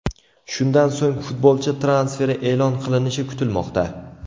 Shundan so‘ng futbolchi transferi e’lon qilinishi kutilmoqda.